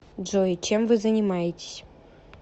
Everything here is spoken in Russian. джой чем вы занимаетесь